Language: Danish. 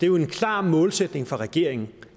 jo en klar målsætning for regeringen